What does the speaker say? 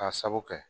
K'a sabu kɛ